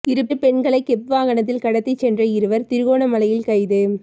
இரு பெண்களை கெப் வாகனத்தில் கடத்திச் சென்ற இருவர் திருகோணமலையில் கைது